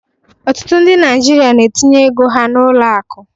Ọtụtụ ndị Naijiria na-etinye ego ha n'ụlọ akụ